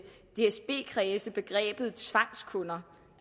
dsb kredse begrebet tvangskunder